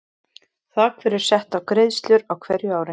Þak verður sett á greiðslur á hverju ári.